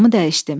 Yolumu dəyişdim.